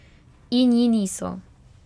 In ji niso.